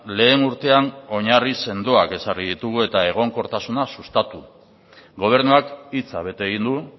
lehen urtean oinarri sendoak ezarri ditugu eta egonkortasuna sustatu gobernuak hitza bete egin du